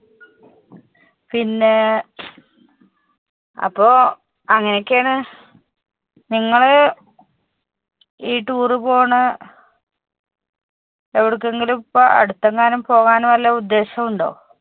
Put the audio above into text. പിന്നെ അപ്പൊ അങ്ങനെക്കെ ആണ് നിങ്ങള് ഈ tour പോണ എവിടേക്കെങ്കിലും ഇപ്പൊ അടുത്തെങ്കിലും പോകാൻ വെല്ല ഉദ്ദേശം ഉണ്ടോ?